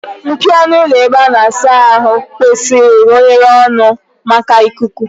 Mpio ọnụ ụlọ ebe a na-asa ahụ kwesịrị ka oghere ọnụ maka ikuku.